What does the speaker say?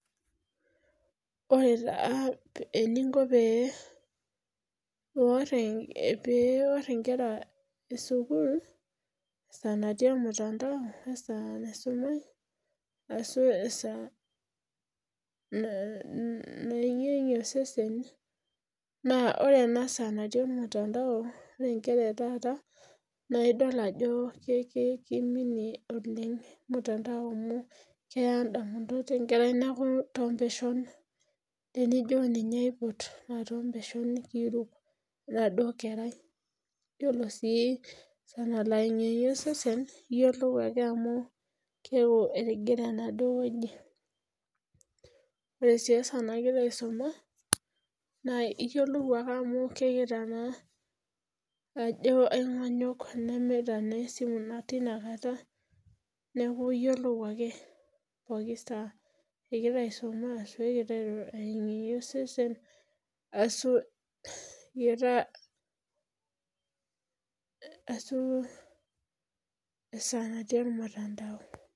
Ore taa eninko pee iwor inkera esukul esaa natii olmutandao wesaa naisumai ashu esaa nayenguyengue osesen naa ore ena saa natii oltmutandao naa nkera etaata naa idol ajo kiminie oleng mutandao amu keya indamunot enkerai niaku torpeshon tenijo ninye aipot naa torpesho kiiruk enaduo keray Yiolo sii esaa nalo ayengiyeng'ie osesen iyiolou ake ajo amu ketigire enaduo wueji Ore sii esaa nagira aisuma naa iyiolou ake amu kegira naa anyok nemeeta naa esimu tinaata neeku iyiolou ake pooki saa egira aiuma ashu egira ayeng'iyeng'ie osesen ashu esaa natii olmutandao